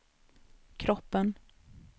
kroppen